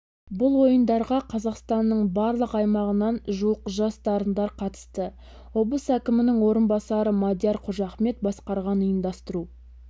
бұл ойындарға қазақстанның барлық аймағынан жуық жас дарындар қатысты облыс әкімінің орынбасары мадияр қожахмет басқарған ұйымдастыру